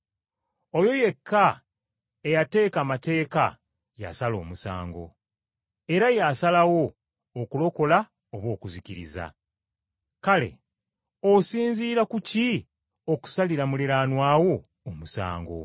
Oyo yekka eyateeka amateeka y’asala omusango. Era y’asalawo okulokola oba okuzikiriza. Kale, osinziira ku ki okusalira muliraanwa wo omusango?